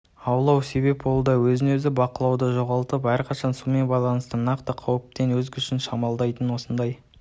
аулау себеп болуда өзін-өзі бақылауды жоғалтып әрқашан сумен байланысты нақты қауіппен өз күшін шамаламайтын осындай